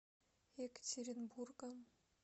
екатеринбургом